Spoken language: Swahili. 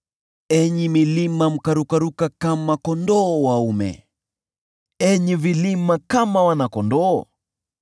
enyi milima mkarukaruka kama kondoo dume, enyi vilima, kama wana-kondoo?